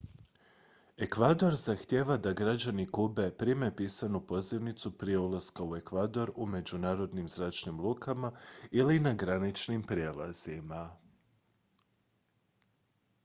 ekvador zahtijeva da građani kube prime pisanu pozivnicu prije ulaska u ekvador u međunarodnim zračnim lukama ili na graničnim prijelazima